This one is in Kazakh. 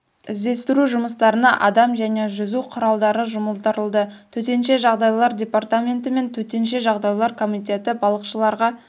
іздестіру жұмыстарына адам және жүзу құралы жұмылдырылды төтенше жағдайлар департаменті мен төтенше жағдайлар комитеті балықшыларға